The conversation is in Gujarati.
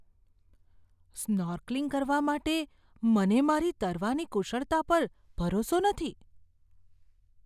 સ્નોર્કલિંગ કરવા માટે મને મારી તરવાની કુશળતા પર ભરોસો નથી.